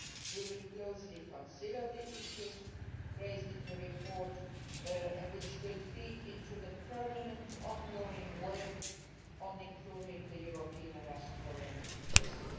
We will closely consider the issues raised in the report, which will feed into the permanent ongoing work on improving the European Arrest Warrant system.